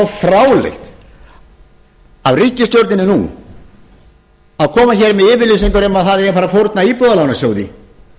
fráleitt af ríkisstjórninni nú að koma hér með yfirlýsingar um að það eigi að fara að fórna íbúðalánasjóði